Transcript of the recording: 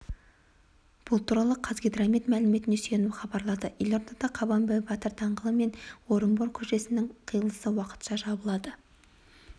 бұл туралы қазгидромет мәліметіне сүйеніп хабарлады елордада қабанбай батыр даңғылы мен орынбор көшелесінің қиылысы уақытша жабылады